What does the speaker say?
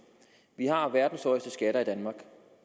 vi har verdens højeste skatter i danmark